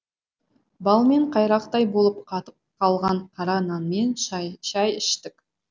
балмен қайрақтай болып қатып қалған қара нанмен шай іштік